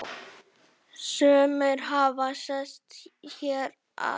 Sumir hafi sest hér að.